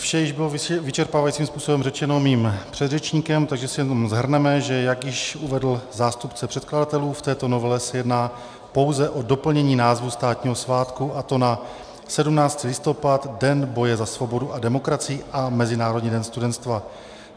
Vše již bylo vyčerpávajícím způsobem řečeno mým předřečníkem, takže si jenom shrneme, že jak již uvedl zástupce předkladatelů, v této novele se jedná pouze o doplnění názvu státního svátku a to na 17. listopad - Den boje za svobodu a demokracii a Mezinárodní den studenstva.